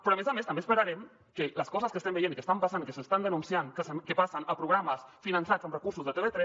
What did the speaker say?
però a més a més també esperarem que les coses que estem veient i que estan passant i que s’està denunciant que passen a programes finançats amb recursos de tv3